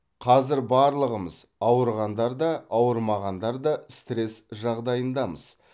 қазір барлығымыз ауырғандар да ауырмағандар да стресс жағдайындамыз